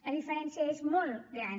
la diferència és molt gran